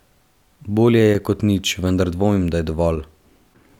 Bolje je kot nič, vendar dvomim, da je dovolj.